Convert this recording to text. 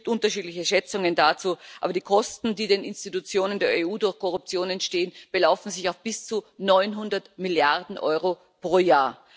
Es gibt unterschiedliche Schätzungen dazu, aber die Kosten, die den Institutionen der EU durch Korruption entstehen, belaufen sich auf bis zu 900 Milliarden Euro pro Jahr.